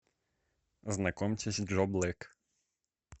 знакомьтесь джо блэк